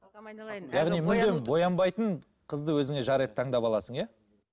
боянбайтын қызды өзіңе жар етіп таңдап аласың иә